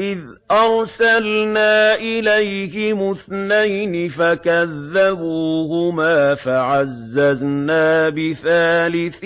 إِذْ أَرْسَلْنَا إِلَيْهِمُ اثْنَيْنِ فَكَذَّبُوهُمَا فَعَزَّزْنَا بِثَالِثٍ